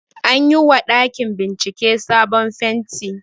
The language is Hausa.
Anyi wa ɗakin bincike sabon fenti